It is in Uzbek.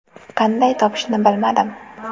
Qanday topishni bilmadim.